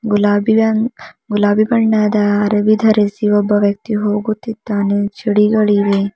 ಗುಲಾಬಿಯ ಗುಲಾಬಿ ಬಣ್ಣದ ಅರಬಿ ಧರಿಸಿ ಒಬ್ಬ ವ್ಯಕ್ತಿ ಹೋಗುತ್ತಿದ್ದಾನೆ ಚಿಡಿಗಳಿವೆ.